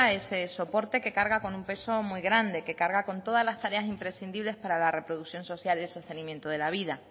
ese soporte que carga con un peso muy grande que carga con todas las tareas imprescindibles para la reproducción social y el sostenimiento de la vida